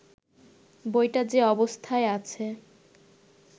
বইটা যে অবস্থায় আছে